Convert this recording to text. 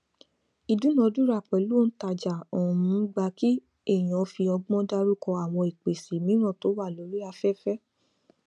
ìdúnadúrà pèlú òǹtajà um gba kí èèyàn fi ọgbón dárúkọ àwọn ìpèsè mìíràn tó wà lórí afẹfẹ